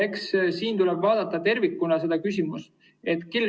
Eks tule vaadata seda küsimust tervikuna.